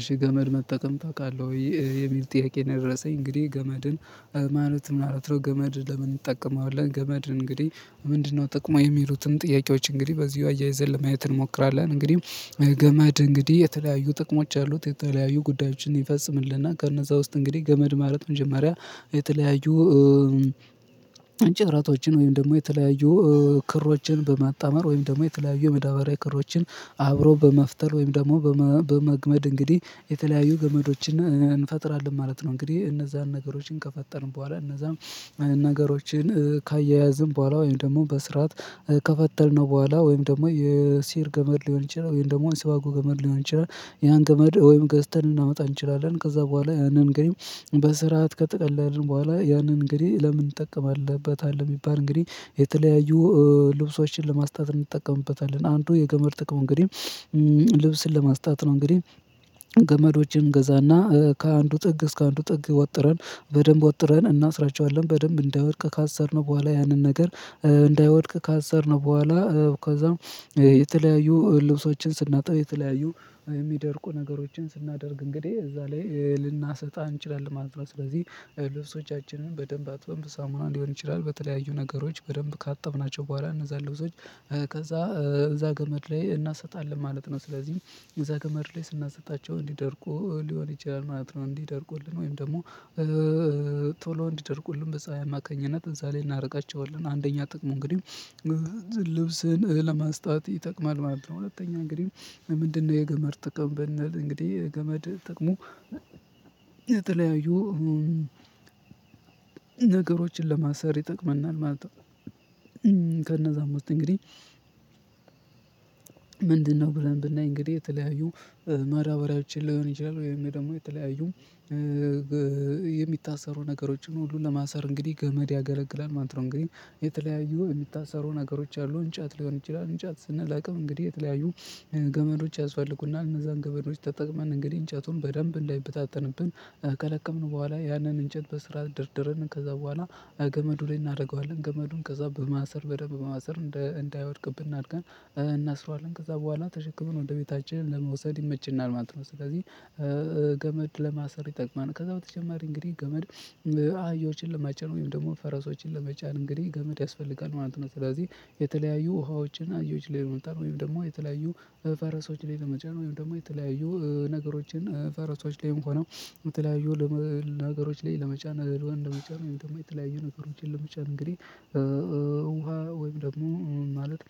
እሺ ገመድ መጠቀም ታውቃለህ ወይ? የሚል ጥያቄ ነው የደረሰኝ። እንግዲህ ገመድን ማለት ምናምን ገመድ ለምን እንጠቀማዋለን? ገመድን እንግዲህ ምንድነው ጥቅሙ? የሚሉትን ጥያቄዎች እንግዲህ በዚሁ አያይዘን ለማየት እንሞክራለን። እንግዲህ ገመድ እንግዲህ የተለያዩ ጥቅሞች ያሉት የተለያዩ ጉዳዮችን ይፈጽምልናል ከነዛ ውስጥ እንግዲህ ገመድ ማለት መጀመሪያ የተለያዩ- እንጨትራቶችን ወይም ደግሞ የተለያዩ ክሮችን በማጣመር ወይም ደግሞ የተለያዩ መዳበሪያ ክሮችን አብሮ በመፍጠር ወይም ደግሞ በመግመድ እንግዲህ የተለያዩ ገመዶችን እንፈጥራለን ማለት ነው። እንግዲህ እነዛን ነገሮችን ከፈጠርን በኋላ እነዛም። ነገሮችን ካያያዝን በኋላ ወይም ደግሞ በስርዓት ከፈጠርነው በኋላ ወይም ደግሞ የሲር ገመድ ሊሆን ይችላል ወይም ደግሞ አንስባጎ ገመድ ሊሆን ይችላል ያን ገመድ ወይም ገዝተን ልናመጣ እንችላለን ከዛ በኋላ ያንን ግን በስርዓት ከጠቀላልን በኋላ ያንን እንግዲህ ለምን እንጠቀምበታለን ቢባል እንግዲህ የተለያዩ- ልብሶችን ለስማጣት እንጠቀምበታለን። አንዱ የገመድ ጥቅም እንግዲህ- ልብስን ለማስጣት ነው። እንግዲህ- ገመዶችን እንገዛና ከአንዱ ጥግ እስከ አንዱ ጥግ ወጥረን በደንብ ወጥረን እናስራቸዋለን። በደንብ እንዳይወድቅ ካሰርነው በኋላ ያንን ነገር እንዳይወድቅ ካሰርነው በኋላ ከዛም- የተለያዩ ልብሶችን ስናጠብ የተለያዩ የሚደርቁ ነገሮችን ስናደርግ እንግዲህ እዛ ላይ ልናሰጣ እንችላለን ማለት ነው። ስለዚህ- ልብሶቻችንን በደንብ አጥበን በሳሙና ሊሆን ይችላል። በተለያዩ ነገሮች በደንብ ካጠብናቸው በኋላ እነዛን ልብሶች ከዛ እዛ ገመድ ላይ እናሰጣለን ማለት ነው። ስለዚህ እዛ ገመድ ላይ ስናሰጣቸው እንዲደርቁ ሊሆን ይችላል ማለት ነው። እንዲደርቁልን ወይም ደግሞ- ቶሎ እንዲደርቁልን በፀሀይ አማካኝነት እዛ ላይ እናረጋቸዋለን። አንደኛ ጥቅሙ እንግዲህ ልብስን- ለማስጣት ይጠቅማል ማለት ነው። ሁለተኛ እንግዲህ ምንድነው የገመድ ጥቅም ብንል እንግዲህ የገመድ ጥቅሙ- የተለያዩ ነገሮችን ለማሰር ይጠቅመናል ማለት ነው። ከነዛ ዉስጥ እንግዲህ ምንድነው ብለን ብናይ እንግዲህ የተለያዩ መዳበሪያዎችን ሊሆን ይችላል ወይም ደግሞ የተለያዩ- የሚታሰሩ ነገሮችን ሁሉ ለማሰር እንግዲህ ገመድ ያገለግላል ማለት ነው። እንግዲህ የተለያዩ የምታሰሩ ነገሮች አሉ እንጨት ሊሆን ይችላል። እንጨት ስንለቅም እንግዲህ የተለያዩ- ገመዶች ያስፈልጉናል። እነዛን ገመዶች ተጠቅመን እንግዲህ እንጨቱን በደንብ እንዳይበታተንብን ከለቀምን በኋላ ያንን እንጨት በስርዓት ደርድርን ከዛ በኋላ ገመዱ ላይ እናደርገዋለን። ገመዱን ከዛ በማሰር በደንብ በማሰር እንዳይወድቅብን እዳይወድቅብን አርገን እናስረዋለን። ከዛ በኋላ ተሸክመን ወደ ቤታችን ለመውሰድ ይመችናል ማለት ነው። ስለዚህ- ገመድ ለማሰር ይጠቅማል። ከዛ በተጨማሪ እንግዲህ ገመድ- አህዮችን ለመጫን ወይም ደግሞ ፈረሶችን ለመጫን እንግዲህ ገመድ ያስፈልጋል ማለት ነው። ስለዚህ የተለያዩ ውሃዎችን አህዮች ላይ ለመጫን ወይም ደግሞ የተለያዩ። ፈረሶች ላይ ለመጫን ወይም ደግሞ የተለያዩ ነገሮችን ፈረሶች ላይ ሆነው የተለያዩ ነገሮች ላይ ለመጫን ነገር ለመጫን ነው የተለያዩ ነገሮችን ለመጫን እንግዲህ ውሃ- ወይም ደግሞ ማለት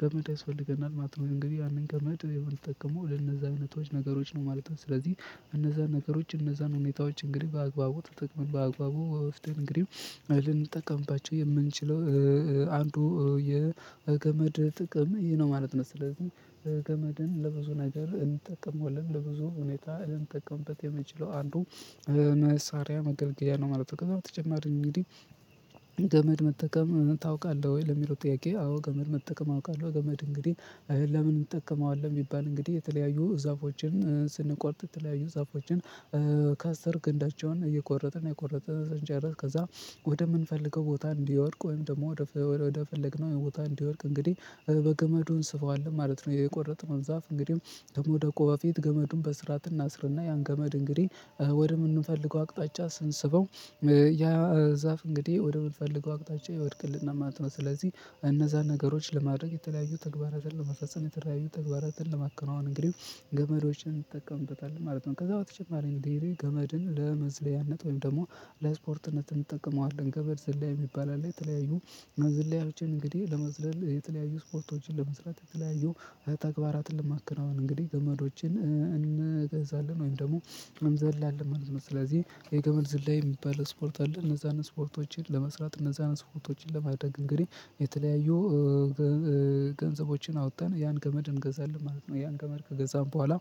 ገመድ ያስፈልገናል ማለት ነው። እንግዲህ ያንን ገመድ የምንጠቀመው ለነዛ አይነቶች ነገሮች ነው ማለት ነው። ስለዚህ እነዛ ነገሮች እነዛን ሁኔታዎች እንግዲህ በአግባቡ ተጠቅመን በአግባቡ ወስደን እንግዲህ ልንጠቀምባቸው የምንችለው- አንዱ የገመድ ጥቅም ይሄ ነው ማለት ነው። ስለዚህ- ገመድን ለብዙ ነገር እንጠቀመዋለን። ለብዙ ሁኔታ ልንጠቀምበት የምንችለው አንዱ መሳሪያ መገልገያ ነው ማለት ነው። በተጨማሪ እንግዲህ- ገመድ መጠቀም ታውቃለህ ወይ? ለሚለው ጥያቄ አዎ ገመድ መጠቀም አውቃለሁ። ገመድ እንግዲህ ለምን እንጠቀመዋለን ቢባል እንግዲህ የተለያዩ ዛፎችን ስንቆርጥ የተለያዩ ዛፎችን- ከስር ግንዳቸውን እየቆረጥን እየቆረጥን ስንጨረስ ከዛ ወደምንፈልገው ቦታ እንዲወድቅ ወይም ደግሞ ወደፈለግነው ቦታ እንዲወድቅ እንግዲህ በገመዱ እንስበዋለን ማለት ነው። የቆረጥነው ዛፍ እንግዲህ ደግሞ ወደ ከመዉደቁ በፊት ገመዱን በስርዓት እናስርና ያን ገመድ እንግዲህ- ወደምንፈልገው አቅጣጫ ስንስበው- ያ ዛፍ እንግዲህ ወደምንፈልገው አቅጣጫ ይወድቅልናል ማለት ነው። ስለዚህ እነዛን ነገሮች ለማድረግ የተለያዩ ተግባራትን ለመፈጸም :የተለያዩ ተግባራትን ለማከናወን እንግዲህ- ገመዶችን እንጠቀምበታል ማለት ነው። ከዛ በተጨማሪ እንግዲህ ገመድን ለመዝለያነት ወይም ደግሞ ለስፖርትነት እንጠቀመዋለን። ገመድ ዝላይ የሚባል አለ የተለያዩ ዝላይዎችን እንግዲህ ለመዝለያ የተለያዩ ስፖርቶችን ለመስራት የተለያዩ- ተግባራትን ለማከናውን እንግዲህ ገመዶችን እንገዛለን ወይም ደግሞ እኔንዘላለን ማለት ነው። ስለዚህ የገመድ ዝላይ የሚባል ስፖርት አለ እነዛን ስፖርቶችን ለመስራት እነዛን ስፖርቶችን ለማድረግ እንግዲህ የተለያዩ- ገንዘቦችን አዉተን ያን ገመድ እንገዛለን ማለት ነው። ያን ገመድ ከገዛን በኋላ-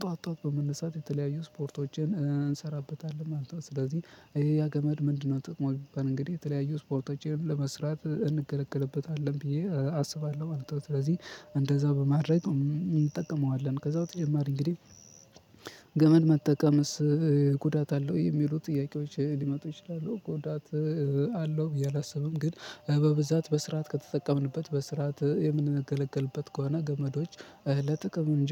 ጠዋት ጠዋት በመነሳት የተለያዩ ስፖርቶችን እንሰራበታለን ማለት ነው። ስለዚህ ይሄ ያ ገመድ ምንድነው ጥቅሙ ቢባል እንግዲህ የተለያዩ ስፖርቶችን ለመስራት እንገለገልበታለን ብዬ አስባለሁ ማለት ነው። ስለዚህ እንደዛ በማድረግ እንጠቀመዋለን ከዛው በተጨማሪ እንግዲህ: ገመድ መጠቀምስ ጉዳት አለው? የሚሉ ጥያቄዎች ሊመጡ ይችላሉ። ጉዳት አለው ብዬ አላስብም ግን በብዛት በስርዓት ከተጠቀምንበት በስርዓት የምንነገለገልበት ከሆነ ገመዶች ለጥቅም እንጂ-